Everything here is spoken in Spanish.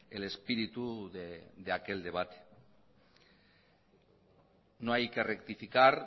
el espíritu de aquel debate no hay que rectificar